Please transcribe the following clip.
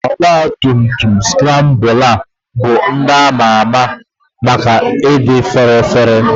Ọgba tum tum Skrambụla bụ ndị ama ama maka ịdị fére féré.